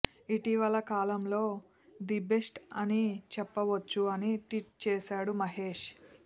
ఇటీవలే కాలంలో the best అని చెప్పవచ్చు అని ట్వీట్ చేసాడు మహేష్